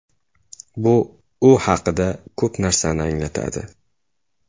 Bu u haqida ko‘p narsani anglatadi”.